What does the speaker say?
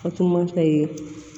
Fatumata ye